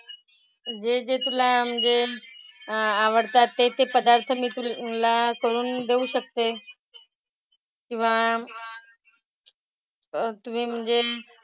जे जे तुला म्हणजे आवडतात ते ते पदार्थ मी तुला करून देऊ शकते. किंवा, तुम्ही म्हणजे,